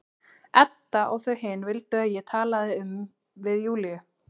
Edda og þau hin vildu að ég talaði um við Júlíu.